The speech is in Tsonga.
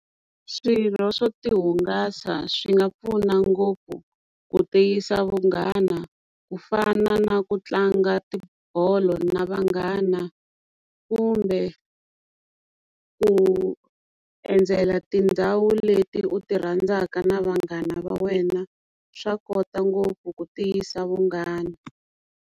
Swirho swo ti hungasa swi nga pfuna ngopfu ku tiyisa vunghana ku fana na ku tlanga tibolo na vanghana kumbe ku endzela tindhawu leti u ti rhandzaka na vanghana va wena swa kota ngopfu ku tiyisa vunghana.